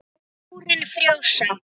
Tárin frjósa.